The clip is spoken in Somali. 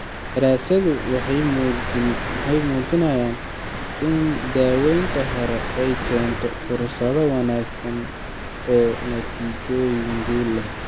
Daraasaduhu waxay muujinayaan in daawaynta hore ay keento fursado wanaagsan oo natiijooyin guul leh.